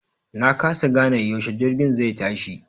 Na kasa gane yaushe jirgin zai tashi.